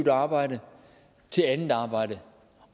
arbejde til andet arbejde